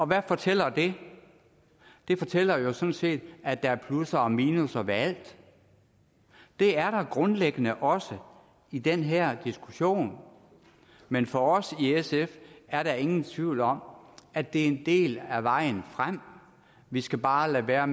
hvad fortæller det det fortæller jo sådan set at der er plusser og minusser ved alt det er der grundlæggende også i den her diskussion men for os i sf er der ingen tvivl om at det er en del af vejen frem vi skal bare lade være